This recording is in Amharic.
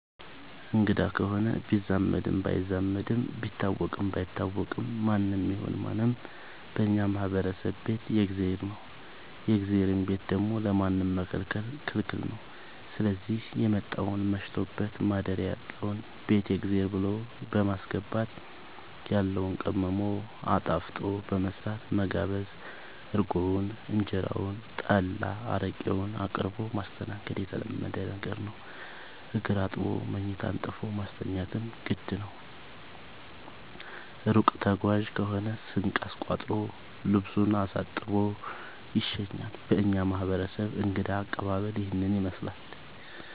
አንግዳ ከሆነ ቢዛመድም ባይዛመድም ቢታወቅም ባይታወቅም ማንም ይሁን ምንም በእኛ ማህበረሰብ ቤት የእግዜር ነው። የእግዜርን ቤት ደግሞ ለማንም መከልከል ክልክል ነው ስዚህ የመጣውን መሽቶበት ማደሪያ ያጣውን ቤት የእግዜር ብሎ በማስገባት ያለውን ቀምሞ አጣፍጦ በመስራት መጋበዝ እርጎውን እንጀራውን ጠላ አረቄውን አቅርቦ ማስተናገድ የተለመደ ነገር ነው። እግር አጥቦ መኝታ አንጥፎ ማስተኛትም ግድ ነው። እሩቅ ተጓዥ ከሆነ ስንቅ አስቋጥሮ ልሱን አሳጥቦ ይሸኛል። በእኛ ማህረሰብ እንግዳ አቀባሀል ይህንን ይመስላል።